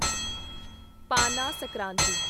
Pana Sankranti